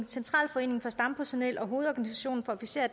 centralforeningen for stampersonel og hovedorganisationen af officerer